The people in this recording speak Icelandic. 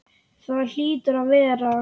Það hlýtur að vera.